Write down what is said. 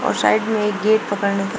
और साइड में एक गेट पकड़ने का--